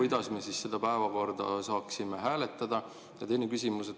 Kuidas me siis seda päevakorda saaksime hääletada?